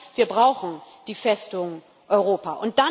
Das heißt Wir brauchen die Festung Europa.